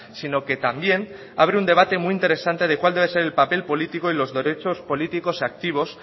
sino que también abre un debate muy interesante de cuál debe ser el papel político y los derechos políticos activos